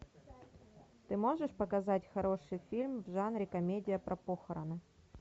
ты можешь показать хороший фильм в жанре комедия про похороны